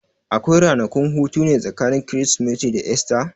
Akwai ranakun hutune tsakanin Kirsimeti da Esta?